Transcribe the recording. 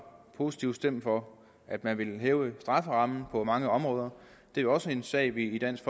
positivt stemt for at man ville hæve strafferammen på mange områder det er jo også en sag vi i dansk